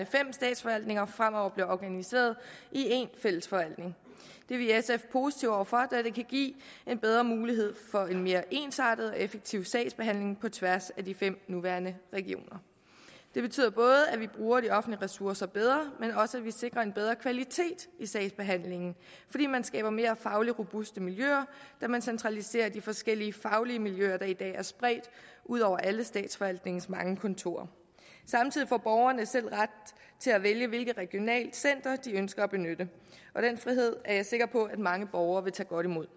fem statsforvaltninger fremover bliver organiseret i en fælles forvaltning det er vi i sf positive over for da det kan give en bedre mulighed for en mere ensartet og effektiv sagsbehandling på tværs af de fem nuværende regioner det betyder både at vi bruger de offentlige ressourcer bedre og at vi sikrer en bedre kvalitet i sagsbehandlingen fordi man skaber mere fagligt robuste miljøer da man centraliserer de forskellige faglige miljøer der i dag er spredt ud over alle statsforvaltningens mange kontorer samtidig får borgerne selv ret til at vælge hvilket regionalt center de ønsker at benytte og den frihed er jeg sikker på mange borgere vil tage godt imod